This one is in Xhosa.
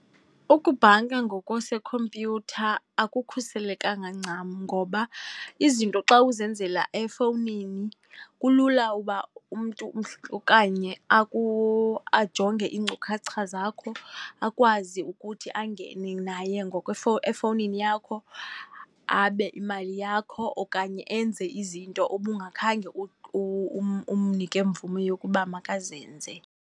Ukubhanka ngokwasekhompyutha akukhuselekanga ncam. Ngoba izinto xa uzenzela efowunini kulula uba umntu ajonge iinkcukacha zakho akwazi ukuthi angene naye efowunini yakho, abe imali yakho okanye enze izinto ubungakhange umnike mvume yokuba makazenze.